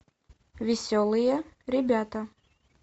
веселые ребята